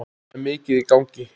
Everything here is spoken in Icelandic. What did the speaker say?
Það er mikið í gangi.